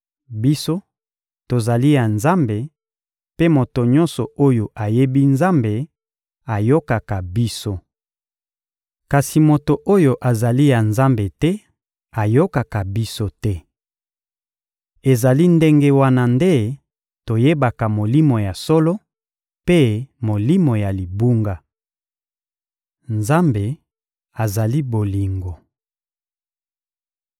Biso, tozali ya Nzambe; mpe moto nyonso oyo ayebi Nzambe ayokaka biso. Kasi moto oyo azali ya Nzambe te ayokaka biso te. Ezali ndenge wana nde toyebaka Molimo ya solo mpe molimo ya libunga. Nzambe azali bolingo